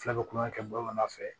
Fula bɛ kulonkɛ kɛ bamanan fɛ